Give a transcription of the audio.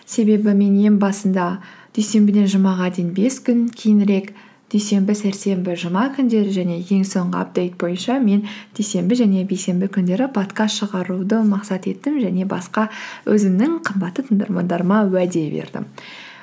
себебі мен ең басында дүйсенбіден жұмаға дейін бес күн кейінірек дүйсенбі сәрсенбі жұма күндері және ең соңғы апдейт бойынша мен дүйсенбі және бейсенбі күндері подкаст шығаруды мақсат еттім және басқа өзімнің қымбатты тыңдармандарыма уәде бердім